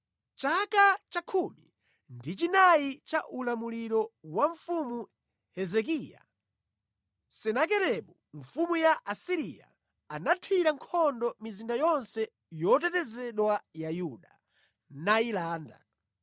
Mʼchaka chakhumi ndi chinayi cha ulamuliro wa Mfumu Hezekiya, Senakeribu mfumu ya ku Asiriya anathira nkhondo mizinda yonse yotetezedwa ya Yuda, nayilanda.